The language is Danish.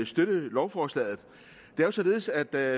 støtte lovforslaget det er således at da